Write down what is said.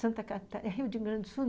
Santa Catarina... É Rio de Grande do Sul?